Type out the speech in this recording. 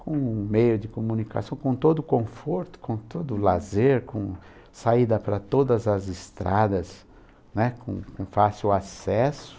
com um meio de comunicação, com todo o conforto, com todo o lazer, com saída para todas as estradas, né, com com fácil acesso.